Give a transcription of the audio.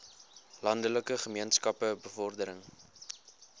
landelike gemeenskappe bevordering